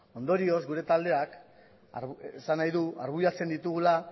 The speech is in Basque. ondorioz gure taldeak esan nahi du argudiatzen ditugula